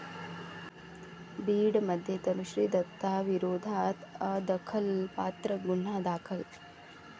बीडमध्ये तनुश्री दत्ताविरोधात अदखलपात्र गुन्हा दाखल